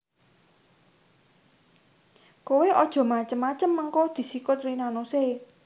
Kowe ojo macem macem mengko disikut Rina Nose